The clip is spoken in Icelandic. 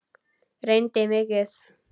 Reyni mikið.